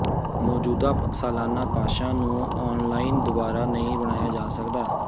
ਮੌਜੂਦਾ ਸਾਲਾਨਾ ਪਾਸਾਂ ਨੂੰ ਆਨਲਾਈਨ ਦੁਬਾਰਾ ਨਹੀਂ ਬਣਾਇਆ ਜਾ ਸਕਦਾ